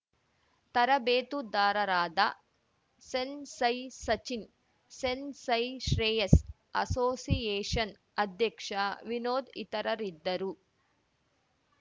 ತರಬೇತುದಾರರಾದ sensei Sachin sensei Shreyas association ಅಧ್ಯಕ್ಷ ವಿನೋದ್‌ ಇತರರಿದ್ದರು